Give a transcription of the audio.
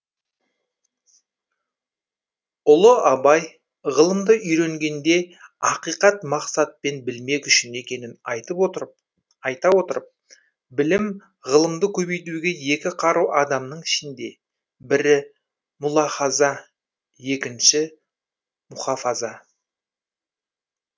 ұлы абай ғылымды үйренгенде ақиқат мақсатпен білмек үшін екенін айта отырып білім ғылымды көбейтуге екі қару адамның ішінде бірі мұлахаза екінші мұхафаза